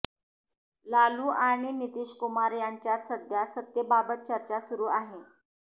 लालू आणि नितीशकुमार यांच्यात सध्या सत्तेबाबत चर्चा सुरू आहे